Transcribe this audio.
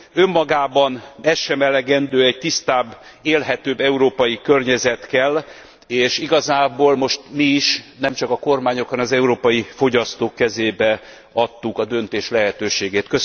Önmagában ez sem elegendő, egy tisztább, élhető európai környezet kell, és igazából most mi is, nem csak a kormányok, hanem az európai fogyasztók kezébe adtuk a döntés lehetőségét.